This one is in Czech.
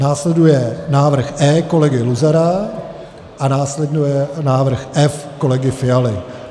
Následuje návrh E kolegy Luzara a následuje návrh F kolegy Fialy.